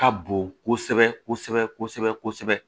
Ka bon kosɛbɛ kosɛbɛ